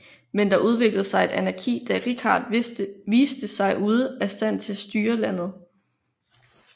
Men der udviklede sig et anarki da Richard viste sig ude af stand til styre landet